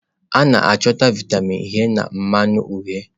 A na-achọta vịatamin A na mmanụ uhie.